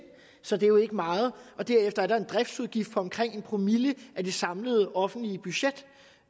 så det er jo ikke meget derefter er der fremadrettet en driftsudgift på omkring en promille af det samlede offentlige budget